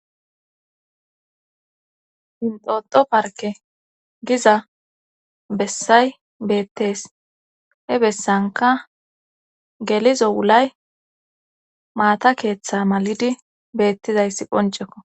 hintoto parke giza bessay beettees he bessanka gelizo wulay maata keeththa mal7idi beettizayssi qoncekko